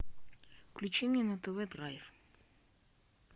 включи мне на тв драйв